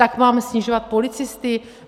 Tak mám snižovat policisty?